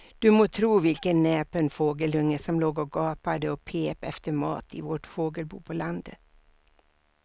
Du må tro vilken näpen fågelunge som låg och gapade och pep efter mat i vårt fågelbo på landet.